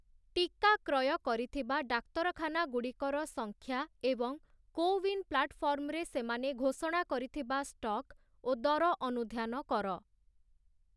ଟିକା କ୍ରୟ କରିଥିବା ଡାକ୍ତରଖାନାଗୁଡ଼ିକର ସଂଖ୍ୟା ଏବଂ କୋୱିନ ପ୍ଲାଟଫର୍ମରେ ସେମାନେ ଘୋଷଣା କରିଥିବା ଷ୍ଟକ ଓ ଦର ଅନୁଧ୍ୟାନ କର ।